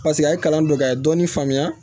Paseke a ye kalan don ka ye dɔɔnin faamuya